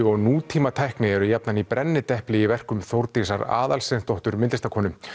og nútímatækni eru jafnan í brennidepli í verkum Þórdísar Aðalsteinsdóttur myndlistarkonu